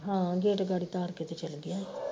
ਹਾਂ gate ਗਾੜੀ ਤਾਰ ਕੇ ਤੇ ਚੱਲ ਗਿਆ